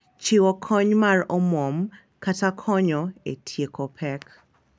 Chiwo kony mar omwom kata konyo e tieko pek.